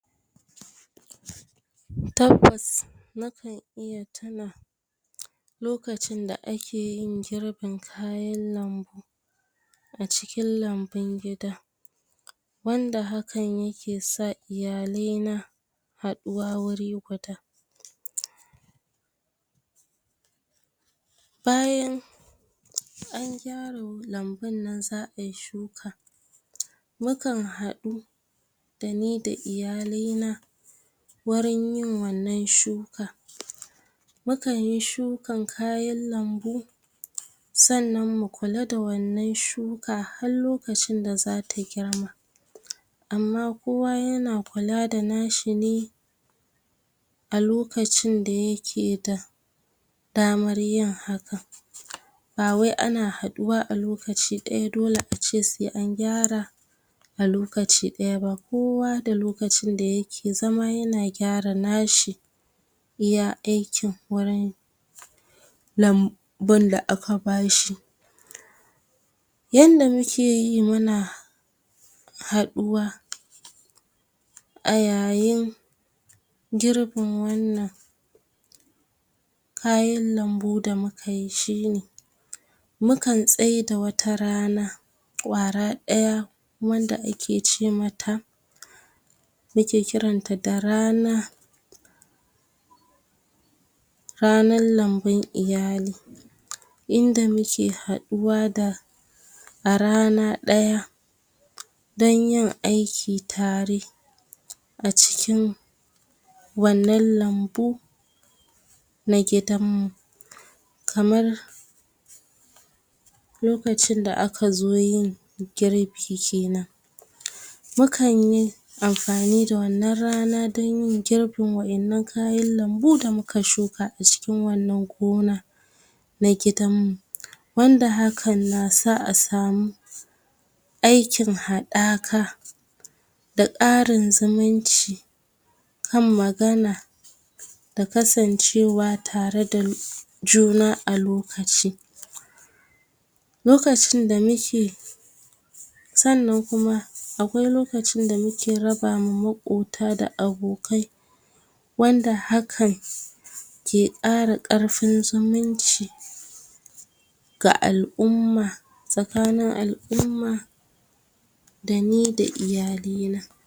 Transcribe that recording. Tabbas na kan iya tina lokacin da ake yin girbin kayan lambu a cikin lambun gida, wanda hakan yake sa iyalai na haɗuwa guri guda. Bayan an gyara lambun nan za ai shuka, mukan haɗu da ni da iyalai na, wurin yin wannan shuka. Mu kan yi shukan kayan lambu, sannan mu kula da wannan shuka har lokacin da zata girma, amma kowa yana kula da nashi ne a lokacin da yake da damar yin haka. Ba wai ana haɗuwa a lokaci ɗaya, dole a ce sai an gyara a lokaci ɗaya ba, kowa da lokacin da yake zama yana gyara nashi iya aikin, wurin lam bun da aka bashi. Yanda muke yi muna haɗuwa a yayin girbin wannan kayan lambu da mukayi shine, mu kan tsaida wata rana ƙwara ɗaya, wanda ake ce mata mu ke kiranta da rana ranan lambun iyali, inda muke haɗuwa da a rana ɗaya, dan yin aiki tare a cikin wannan lambu na gidan mu, kamar lokacinda aka zo yin girbi kenan. Mu kan yi amfani da wannan rana, dan yin girbin wa'innan kayan lambu da muka shuka a cikin wannan gona na gidan mu, wanda hakan na sa a samu aikin haɗaka, da ƙarin zuminci kan magana, da kasancewa tare da juna a lokaci. Lokacin da muke sannan kuma, akwai lokacin da muke raba ma maƙota da abokai, wanda hakan ke ƙara ƙarfun zumunci ga al'umma, tsakanin al'umma da ni da iyalai na.